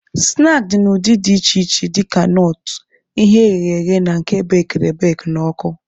Snaakị dị n'ụdị dị iche iche dịka nọọt, ihe eghere eghe na nke ebekiri ebeki n'ọkụ.